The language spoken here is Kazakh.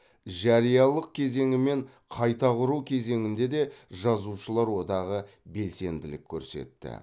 жариялылық кезеңі мен қайта құру кезеңінде де жазушылар одағы белсенділік көрсетті